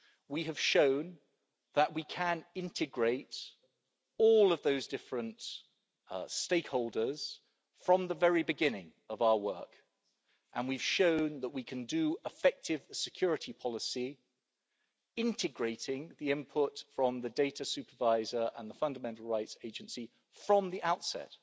We have shown that we can integrate all of those different stakeholders from the very beginning of our work and we've shown that we can do effective security policy integrating the input from the Data Supervisor and the Fundamental Rights Agency from the outset.